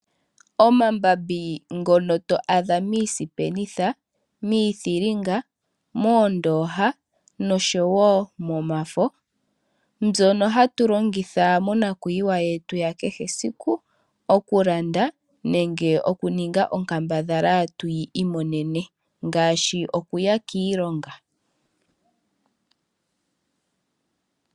Omambambi ngono to adha miisipenitha, miithinga, moondoha noshowo momafo. Mbyono hatu longitha monakuyiwa yakehe siku. Oku landa nenge oku ninga onkambadhala tuyi imonene ngaashi okuya kiilongo.